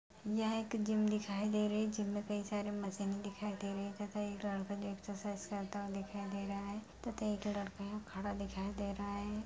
यह एक जिम दिखाई दे रही जिम में कई सारे मशीन दिखाई दे रहे तथा एक लड़का जो एक्सरसाइज करता हुआ दिखाई दे रहा है तथा एक लड़का वहाँ खड़ा दिखाई दे रहा है।